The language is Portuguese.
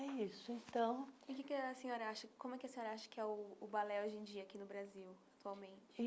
É isso, então... E que que a senhora acha como é que a senhora acha que é o balé hoje em dia aqui no Brasil, atualmente?